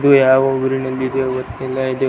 ಇದು ಯಾವ ಊರಿನಲ್ಲಿ ಇದೆಯೋ ಗೊತ್ತಿಲ್ಲ ಇದು.